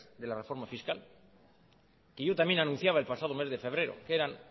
de la reforma fiscal que yo también anunciaba el pasado mes de febrero que eran